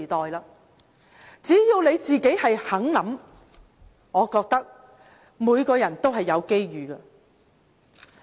我覺得只要大家願意想一想，每個人都會有機遇。